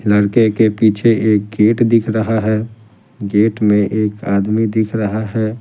लड़के के पीछे एक गेट दिख रहा है गेट में एक आदमी दिख रहा है।